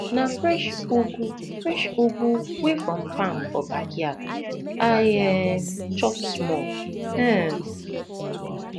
na fresh ugu fresh ugu wey from farm for backyard i um chop small um